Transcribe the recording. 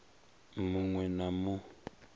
mu ṅ we na mu